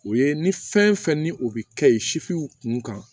O ye ni fɛn fɛn ni o bɛ kɛ ye kun kan